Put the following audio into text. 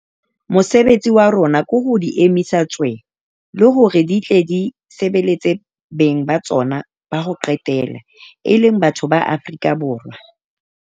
Mosebetsi wa rona ke ho di emisa tswee, e le hore di tle di sebeletse beng ba tsona ba ho qetela - e leng batho ba Afrika Borwa.